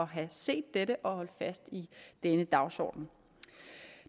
have set dette og holde fast i denne dagsorden